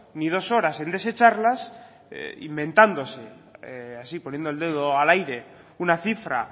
ni dos horas en desecharlas inventándose así poniendo el dedo al aire una cifra